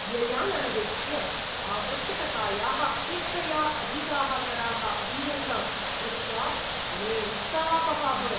व्ययान् अनवेक्ष्य, आवश्यकतायाः अपेक्षया अधिकाः कराः अदीयन्त इति दृष्ट्वा मे उत्तापः अभवत्।